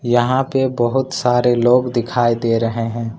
यहां पे बहोत सारे लोग दिखाई दे रहे हैं।